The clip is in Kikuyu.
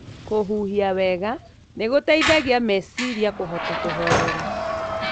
Kũhuhia wega nĩ gũteithagia meciria kũhota kũhorera.